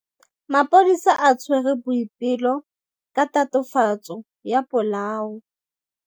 Maphodisa a tshwere Boipelo ka tatofatsô ya polaô.